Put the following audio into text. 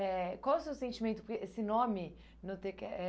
Eh qual o seu sentimento que esse nome? Notei que eh